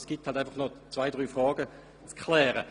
Es gibt also einfach noch ein paar Fragen zu klären.